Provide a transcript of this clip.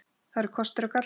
Það eru kostir og gallar.